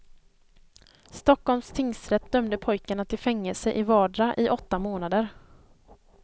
Stockholms tingsrätt dömde pojkarna till fängelse i vardera i åtta månader.